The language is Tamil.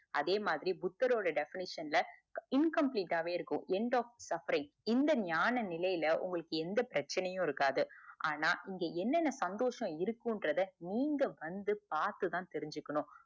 அதே மாதிரி புத்தர் ஓட defenition ல incomplete ஆஹ் வே இருக்கும் suffaring இந்த ஞான நிலைல உங்களுக்கு எந்த பிரச்சனையும் இருக்காது ஆனா இங்க என்னென சந்தோஷம் இருகுங்குரத நீங்க வந்து பாத்து தான் தெரிஞ்சுக்கணும்